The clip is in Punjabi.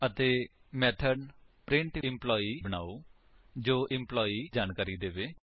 ਅਤੇ ਮੇਥਡ ਪ੍ਰਿੰਟੈਂਪਲਾਈ ਬਨਾਓ ਜੋ ਐਂਪਲਾਈ ਜਾਣਕਾਰੀ ਦਰਸਾਏ